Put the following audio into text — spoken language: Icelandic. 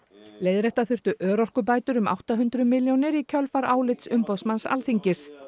leiðrétta þurfti örorkubætur um átta hundruð milljónir í kjölfar álits umboðsmanns Alþingis